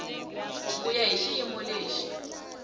ku ya hi xiyimo lexi